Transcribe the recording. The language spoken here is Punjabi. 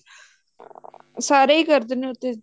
ਸਾਰੇ ਹੀ ਕਰਦੇ ਨੇ ਉਹ ਤੇ